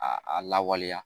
A a lawaleya